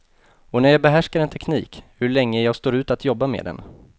Och när jag behärskar en teknik; hur länge jag står ut att jobba med den.